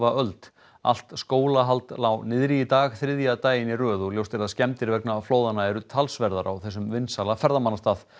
öld allt skólahald lá niðri í dag þriðja daginn í röð og ljóst er að skemmdir vegna flóðanna eru talsverðar á þessum vinsæla ferðamannastað